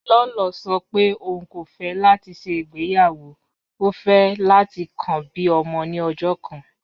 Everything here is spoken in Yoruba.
Lọlọ sọ̀ pé ọún kò fẹ̀ láti ṣẹ́ igbeyawo, ó fẹ̀ láti kàn bí ọmọ ni ọ̀jọ̀ kan